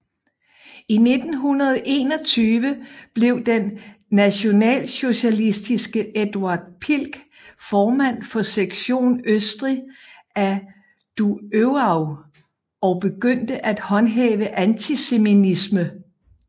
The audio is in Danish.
I 1921 blev den nationalsocialistiske Eduard Pichl formand for Sektion Østrig af DuÖAV og begyndte at håndhæve antisemitisme